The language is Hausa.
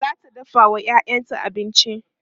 zata dafawa ƴaƴanta abinci